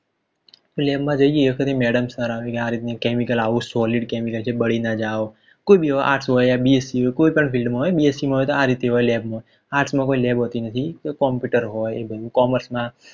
Lab માં જઈએ એ વખતે Madam સાર આવે કે આ રીત નું chemical આવું Solid Chemicals કે બાળી ના જાવ કોઈ બી હોવ Arts હોવ bsc હોય કોઈ પણ field માં હોય bsc માં હોય તો આ રીતે હોય lab માં arts કોઈ lab હોતી નથી તો computer હોય Commerce માં